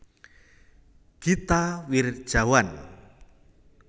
Gita Wirjawan